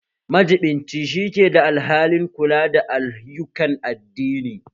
Majibinci shi ke da alhakin kula da ayyukan addini